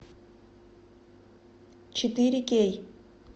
четыре кей